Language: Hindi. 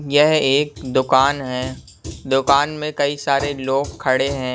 यह एक दुकान है दुकान मे कई सारे लोग खड़े है।